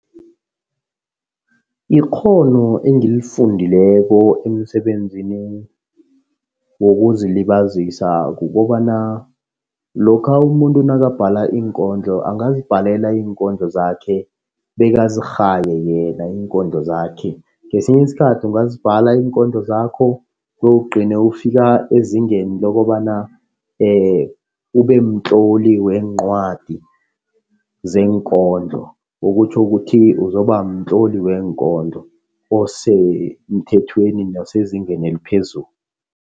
Ikghono engilifundileko emsebenzini wokuzilibazisa, kukobana lokha umuntu nakabhala iinkondlo angazibhalela iinkondlo zakhe bekazirhaye yena iinkondlo zakhe. Ngesinye isikhathi ungazibhala iikondlo zakho bewuligcine ufika ezingeni lokobana ubemtloli weencwadi zeenkondlo. Okutjho ukuthi uzoba mtloli weenkondlo osemthethweni osezingeni eliphezulu.